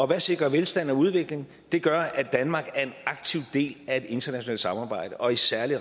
hvad sikrer velstand og udvikling det gør at danmark er en aktiv del af et internationalt samarbejde og i særlig